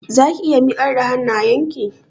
Zaki iya miƙar da hannayenki?